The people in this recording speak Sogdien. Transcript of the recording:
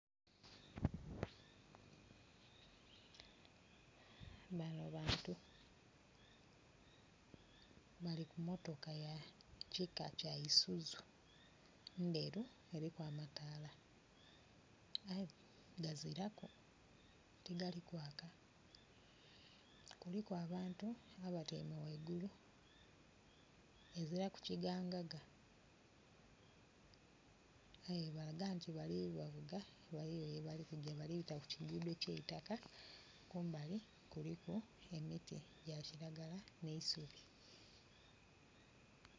Bano bantu bali ku motoka ya kika kya Isuzu, ndheru, eriku amataala aye nga gaziraku, tigali kwaka. Nga kuliku abantu abatyaime ghaigulu, eziraku kigangaga. Aye balaga nti balibavuga ghaliwo gyebali kugya bali kubita ku kiguudho ekyeitaka. Kumbali kuliku emiti gya kiragala n'eisubi.